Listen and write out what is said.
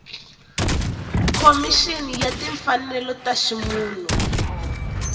khomixini ya timfanelo ta ximunhu